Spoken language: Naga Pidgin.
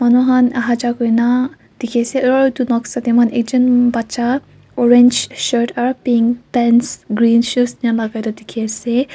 manu khan aha ja kuri na dikhi ase aro edu noksa de moikhan ekjun bacha orange shirt aro pink pants green shoes ena lagai do dikhi ase.